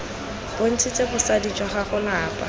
bontshitse bosadi jwa gago lapa